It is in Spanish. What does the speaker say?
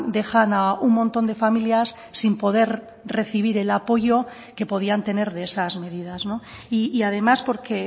dejan a un montón de familias sin poder recibir el apoyo que podían tener de esas medidas y además porque